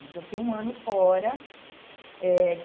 Então, eu fiquei um ano fora eh.